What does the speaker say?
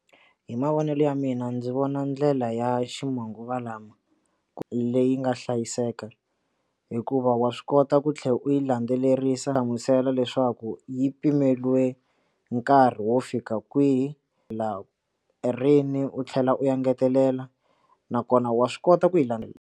Hi mavonelo ya mina ndzi vona ndlela ya ximanguva lama leyi nga hlayiseka hikuva wa swi kota ku tlhela u yi landzelerisa hlamusela leswaku yi pimeriwa ka nkarhi wo fika kwihi la rini u tlhela u engetelela nakona wa swi kota ku yi landzelela.